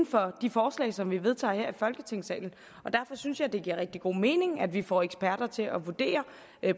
for de forslag som vi vedtager her i folketingssalen og derfor synes jeg det giver rigtig god mening at vi får eksperter til at vurdere